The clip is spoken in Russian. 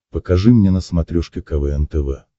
покажи мне на смотрешке квн тв